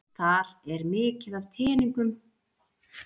Þar er mikið af tengingum á vefsíður með upplýsingum um sögu tölvunnar.